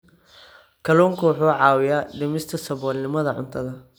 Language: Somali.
Kalluunku wuxuu caawiyaa dhimista saboolnimada cuntada.